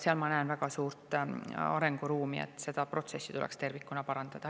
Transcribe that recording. Seal ma näen väga suurt arenguruumi, seda protsessi tuleks tervikuna parandada.